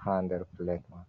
ha nder pilet man.